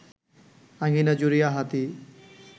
আঙ্গিনা জুড়িয়া হাতী